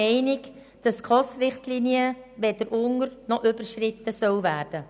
Die SKOS-Richtlinien sollen weder unter- noch überschritten werden.